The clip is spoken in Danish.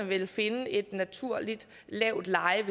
ville finde et naturligt lavt leje